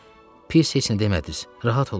Pis heç nə demədiniz, rahat olun.